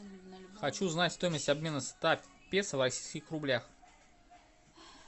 хочу знать стоимость обмена ста песо в российских рублях